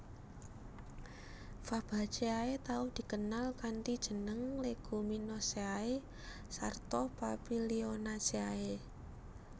Fabaceae tau dikenal kanthi jeneng Leguminosae sarta Papilionaceae